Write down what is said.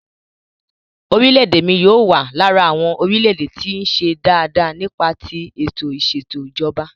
Orílè èdè mi yóò wà lára àwọn orílẹ̀-èdè tí ń ṣe dáa dáa nípa tí ètò ìsètò ìjọba.